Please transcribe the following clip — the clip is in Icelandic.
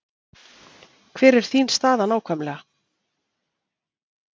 Hver er þín staða nákvæmlega?